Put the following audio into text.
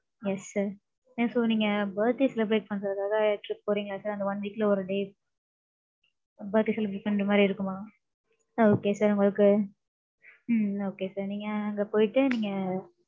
Yes sir. So நீங்க birthday celebrate பண்றதுக்காக, trip போறீங்களா sir அந்த one week ல, ஒரு day. birthday celebrate பண்ற மாதிரி இருக்குமா Okay sir உங்களுக்கு உம் okay sir நீங்க அங்க போயிட்டு, நீங்க